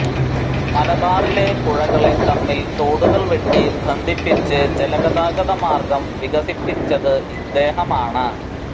മലബാറിലെ പുഴകളെ തമ്മിൽ തോടുകൾ വെട്ടി ബന്ധിപ്പിച്ച് ജലഗതാഗത മാർഗ്ഗം വികസപ്പിച്ചത് ഇദ്ദേഹമാണ്